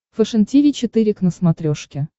фэшен тиви четыре к на смотрешке